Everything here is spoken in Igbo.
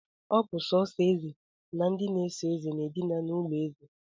Ọ bụ sọọsọ eze na ndị ọsọ eze na-edina n'ụlọ obi eze